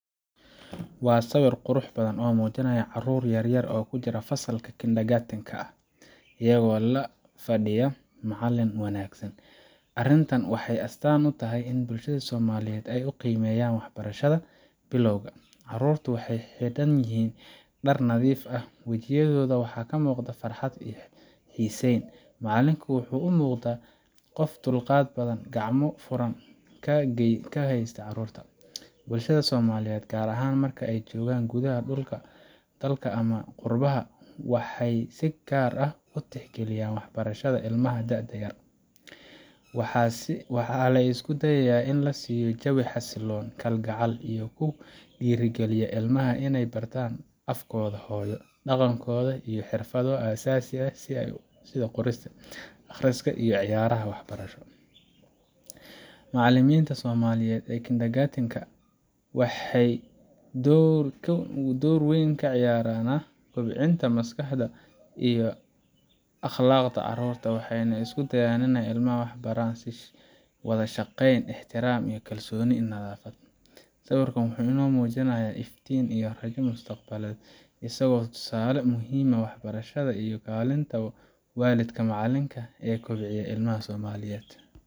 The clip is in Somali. Waa sawir qurux badan oo muujinaya caruur yaryar oo ku jira fasalka kindergarten ka, iyagoo la fadhiya macallin wanaagsan. Arrintan waxay astaan u tahay sida bulshada Soomaaliyeed ay u qiimeeyaan waxbarashada bilowga ah. Caruurtu waxay xidhan yihiin dhar nadiif ah, wejiyadoodana waxaa ka muuqda farxad iyo xiisayn. Macallinku wuxuu u muuqdaa qof dulqaad badan, gacmo furan ku hagaya caruurta. Bulshada Soomaaliyeed, gaar ahaan marka ay joogaan gudaha dalka ama qurbaha, waxay si gaar ah u tixgeliyaan waxbarashada ilmaha da'da yar. Waxaa la isku dayaa in la siiyo jawi xasilloon, kalgacal leh oo ku dhiirrigeliya ilmaha inay bartaan afkooda hooyo, dhaqankooda iyo xirfado asaasi ah sida qorista, akhriska, iyo ciyaaraha waxbarasho. Macallimiinta Soomaaliyeed ee kindergarten ka waxay door weyn ka ciyaaraan kobcinta maskaxda iyo akhlaaqda caruurta, waxayna isku dayaan in ilmaha la baro wada shaqeyn, ixtiraam iyo kalsoonida nafta. Sawirkan wuxuu inoo muujinayaa iftiin iyo rajada mustaqbalka, isagoo tusaale u ah muhiimadda waxbarashada iyo kaalinta waalidka iyo macallinka ee kobcinta ilmaha Soomaaliyeed.